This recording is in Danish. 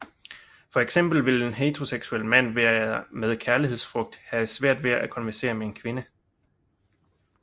For eksempel vil en heteroseksuel mand med kærlighedsfrygt have svært ved at konversere med en kvinde